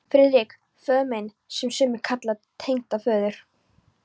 FRIÐRIK: Föður minn, sem sumir kalla tengdaföður